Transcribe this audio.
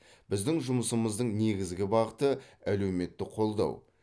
біздің жұмысымыздың негізгі бағыты әлеуметтік қолдау